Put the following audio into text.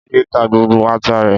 Olamide ta gbogbo ata rẹ̀